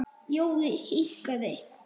Jói hikaði.